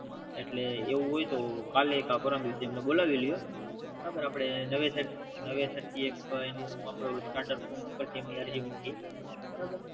એટલે એવું હોય તોહ કાલે કે પરમ દિવસે એમને બોલાવી લો નવે સર થી એક એનું સ્ટાટપ પર થી અરજી મૂકી